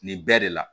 Nin bɛɛ de la